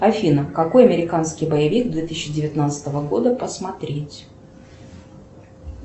афина какой американский боевик две тысячи девятнадцатого года посмотреть